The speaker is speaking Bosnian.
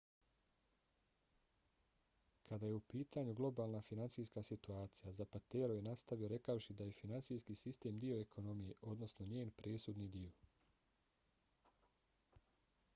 kada je u pitanju globalna finansijska situacija zapatero je nastavio rekavši da je finansijski sistem dio ekonomije odnosno njen presudni dio.